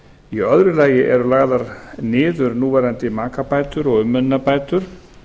í öðru lagi eru lagðar niður núverandi makabætur og umönnunarbætur